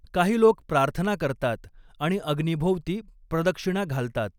काही लोक प्रार्थना करतात आणि अग्नीभोवती प्रदक्षिणा घालतात.